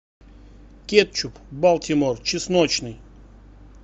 кетчуп балтимор чесночный